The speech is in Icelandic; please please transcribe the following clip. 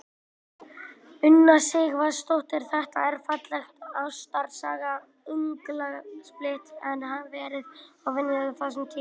Una Sighvatsdóttir: Þetta er falleg ástarsaga unglingspilta, en hefur verið óvenjulegt á þessum tíma?